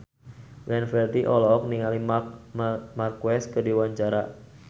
Glenn Fredly olohok ningali Marc Marquez keur diwawancara